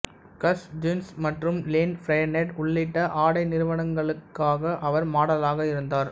கஸ் ஜூன்ஸ் மற்றும் Lane Bryant உள்ளிட்ட ஆடை நிறுவனங்களுக்காக அவர் மாடலாக இருந்தார்